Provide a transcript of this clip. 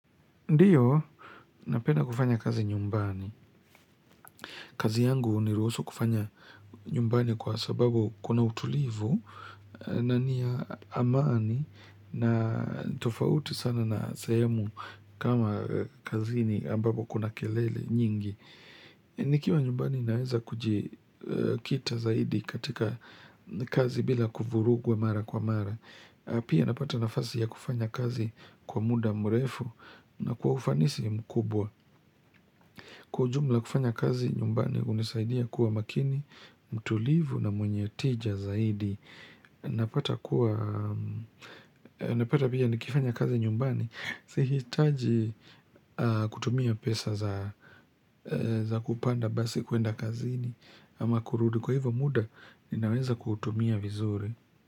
Ndiyo, napenda kufanya kazi nyumbani. Kazi yangu huniruhusu kufanya nyumbani kwa sababu kuna utulivu na niya amani na tofauti sana na sehemu kama kazini ambapo kuna kelele nyingi. Nikiwa nyumbani naeza kujikita zaidi katika kazi bila kuvurugwa mara kwa mara. Pia napata nafasi ya kufanya kazi kwa muda murefu na kwa ufanisi mkubwa. Kujumla kufanya kazi nyumbani unisaidia kuwa makini, mtulivu na mwenye tija zaidi. Napata kuwa, napata pia nikifanya kazi nyumbani. Sihitaji kutumia pesa za kupanda basi kuenda kazini ama kurudi kwa hivyo muda ninaweza kuutumia vizuri.